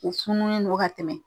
U fununen don ka tɛmɛ.